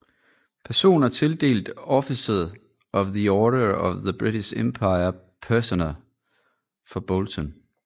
Personer tildelt Officer of the Order of the British Empire Personer fra Bolton